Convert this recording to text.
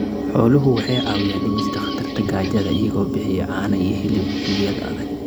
Xooluhu waxay caawiyaan dhimista khatarta gaajada iyagoo bixiya caano iyo hilib xilliyada adag.